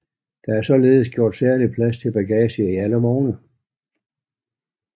Der er således gjort særlig plads til bagage i alle vogne